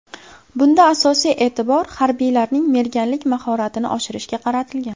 Bunda asosiy e’tibor harbiylarning merganlik mahoratini oshirishga qaratilgan.